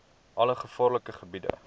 alle gevaarlike gebiede